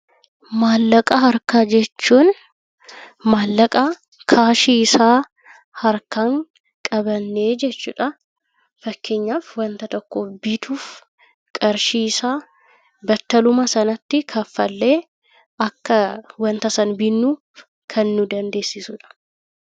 Maallaqa harkaa jechuun maallaqa kaashii isaa harkaan qabannee jechuudha. Fakkeenyaaf wanta tokko bituuf qarshii isaa battaluma sanatti kaffallee akka wanta sana bitnu kan nu dandeessisudha.